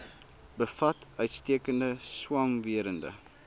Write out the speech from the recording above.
bevat uitstekende swamwerende